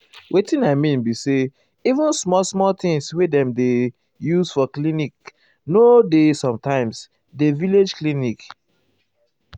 wetin i mean be say even small small things wey dem dey use for clinc nor dey sometimes dey village clinic.